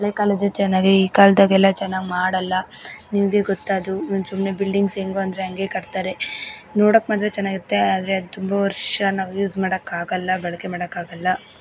ಹಳೆ ಕಾಲದ ಚೆನ್ನಾಗಿದೆ ಈ ಕಾಲದಗೆಲ್ಲ ಚೆನ್ನಾಗ್ ಮಾಡಲ್ಲ ನಿಮಗೆ ಗೊತ್ತದು ಸುಂಸುಮ್ನೆ ಬಿಲ್ಡಿಂಗ್ಸ್ ಹೆಂಗು ಅಂದ್ರೆ ಹಂಗೆ ಕಟ್ ತಾರೆ ನೋಡಕ್ ಮಾತ್ರ ಚೆನ್ನಾಗಿರುತ್ತೆ ಆದ್ರೆ ತುಂಬಾ ವರ್ಷ ನಾವು ಯೂಸ್ ಮಾಡಕ್ ಆಗಲ್ಲ ಬಳಕೆ ಮಾಡಕ ಆಗಲ್ಲ.